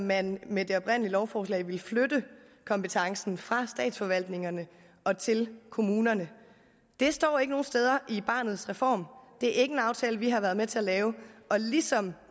man med det oprindelige lovforslag ville flytte kompetencen fra statsforvaltningerne til kommunerne det står ikke nogen steder i barnets reform det er ikke en aftale vi har været med til at lave og ligesom